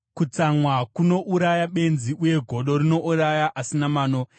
Kutsamwa kunouraya benzi, uye godo rinouraya asina mano.